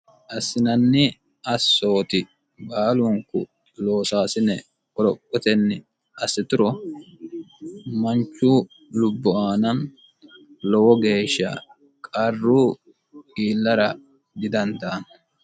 assinanni assooti baalunku loosaasine qoroqqotenni assituro manchu lubbu aana lowo geeshsha qarru iillara didandaanno.